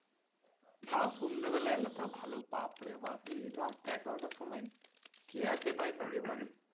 তাও সন্ধ্যেবেলা এলে ভালো বাপরে বাপ এই রাত এগারোটার সময় কে আছে ভাই কারো বাড়ি?